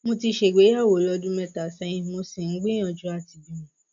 mo ti ṣègbéyàwó lọdún mẹta sẹyìn mo sì ń gbìyànjú àti bímọ